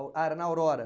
Ah, era na Aurora.